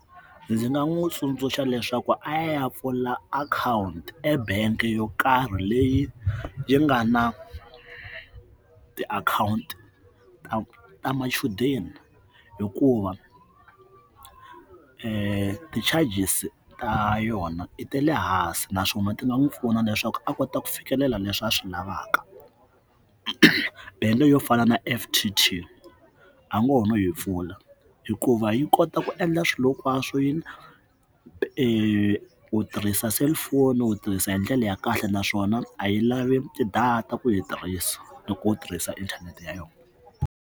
Ndzi nga n'wi tsundzuxa leswaku a ya pfula akhawunti e bank yo karhi leyi yi nga na tiakhawunti ta ta machudeni hikuva ti charges ta yona i ta le hansi naswona ti nga n'wi pfuna leswaku a kota ku fikelela leswi a swi lavaka then yo fana na F_T_T a ngo ho no yi pfula hikuva yi kota ku endla swilo hinkwaswo yini ku tirhisa cellphone wu tirhisa hi ndlela ya kahle naswona a yi lavi tidata ku yi tirhisa loko u tirhisa inthanete ya yona.